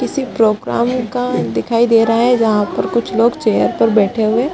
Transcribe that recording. किसी प्रोग्राम का दिखाई दे रहा है यहां पर कुछ लोग चेयर पर बैठे हुए --